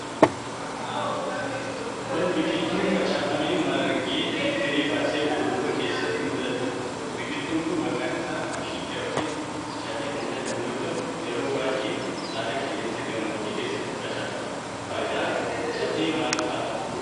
Kun, biqiltuu facaafamee, margee fi firii baasee urufa keessatti mul'atuu dha. Biqiltuun kun, maqaan isaa mishingaa yokin catee kan jedhamu yoo ta'u, eroo baay'ee haala qilleensaa gammoojjii keessatti facaafama. Faayidaan catee maal faa dha?